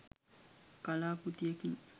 කලා කෘතියකින්